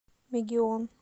мегион